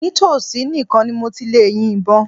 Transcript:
Nítòsí nìkan ni mo ti lè yin ìbọn.